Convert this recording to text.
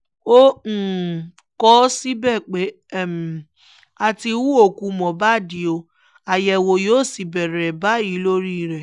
ó um kọ ọ́ síbẹ̀ pé um a ti hu òkú mohbad ọ́ àyẹ̀wò yóò sì bẹ̀rẹ̀ báyìí lórí rẹ̀